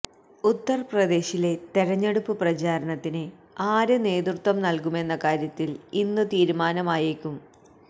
ഉത്തര്പ്രദേശിലെ തെരഞ്ഞെടുപ്പ് പ്രചാരണത്തിന് ആര് നേതൃത്വം നല്കുമെന്ന കാര്യത്തില് ഇന്ന് തീരുമാനമായേക്കും